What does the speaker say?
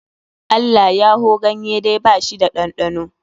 Allayyaho ganyeda ba shi da ɗanɗano